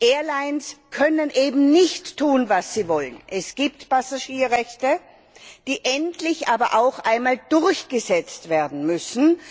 Airlines können eben nicht tun, was sie wollen. Es gibt Passagierrechte, die aber endlich auch einmal durchgesetzt werden müssen.